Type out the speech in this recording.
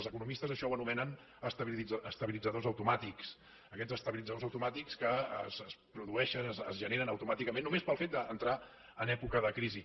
els economistes això ho anomenen estabilitzadors automàtics aquests estabilitzadors automàtics que es produeixen es generen automàticament només pel fet d’entrar en època de crisi